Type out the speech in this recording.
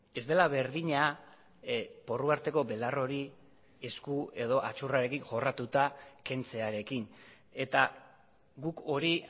ez dela berdina porru arteko belar hori esku edo aitzurrarekin jorratuta kentzearekin eta guk hori